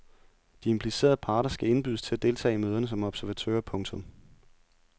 De implicerede parter skal indbydes til at deltage i møderne som observatører. punktum